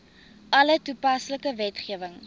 alle toepaslike wetgewing